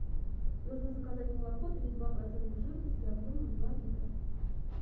нужно заказать молоко три и два процента жирности объемом два литра